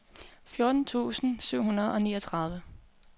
fjorten tusind syv hundrede og niogtredive